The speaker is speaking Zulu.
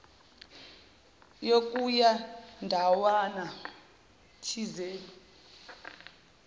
yokuya ndawana thizeni